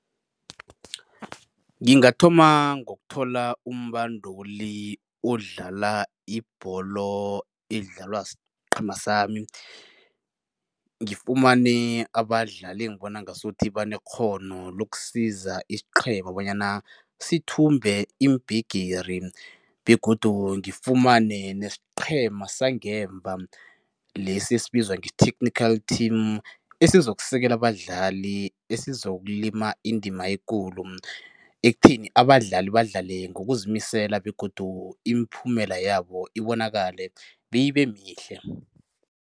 Ngingathoma ngokuthola umbanduli odlala ibholo edlalwa siqhema sami, ngifumane abadlali engibona ngasuthi banekghono lokusiza isiqhema bonyana sithumbe iimbhigiri begodu ngifumane nesiqhema sangemva lesi esibizwa nge-technical team esizokusekela abadlali, esizokulima indima ekulu ekutheni abadlali badlale ngokuzimisela begodu imiphumela yabo ibonakale, beyibe mihle.